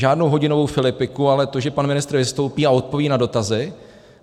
Žádnou hodinovou filipiku, ale to, že pan ministr vystoupí a odpoví na dotazy.